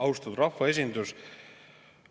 Austatud rahvaesindus!